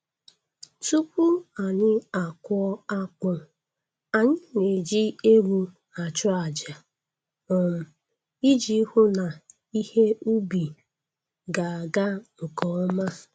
Tupu anyị akụọ akpu, anyị na-eji ewu achụ àjà um iji hụ na ihe ubi ga-aga nke ọma.